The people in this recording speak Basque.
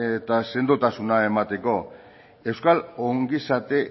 eta sendotasuna emateko euskal ongizate